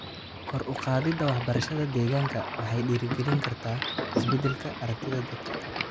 Kor u qaadida waxbarashada deegaanka waxay dhiirrigelin kartaa isbeddelka aragtida dadka.